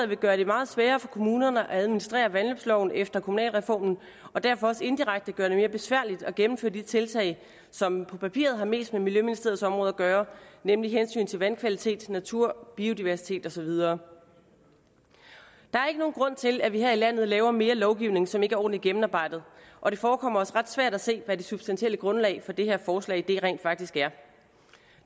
vil gøre det meget sværere for kommunerne at administrere vandløbsloven efter kommunalreformen og derfor også indirekte gøre det mere besværligt at gennemføre de tiltag som på papiret har mest med miljøministeriets område at gøre nemlig hensynet til vandkvalitet natur biodiversitet og så videre der er ikke nogen grund til at vi her i landet laver mere lovgivning som ikke er ordentligt gennemarbejdet og det forekommer os ret svært at se hvad det substantielle grundlag for det her forslag rent faktisk er